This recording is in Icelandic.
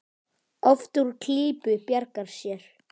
Oft úr klípu bjargar sér.